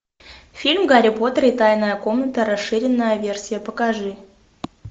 фильм гарри поттер и тайная комната расширенная версия покажи